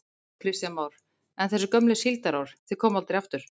Kristján Már: En þessi gömlu síldarár, þau koma aldrei aftur?